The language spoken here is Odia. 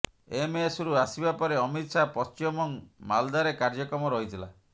ଏମସରୁ ଆସିବା ପରେ ଅମିତ ଶାହା ପଶ୍ଚିମବଙ୍ଗ ମାଲଦାରେ କାର୍ଯ୍ୟକ୍ରମ ରହିଥିଲା